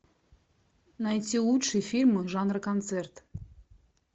найти лучшие фильмы жанра концерт